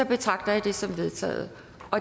betragter jeg det som vedtaget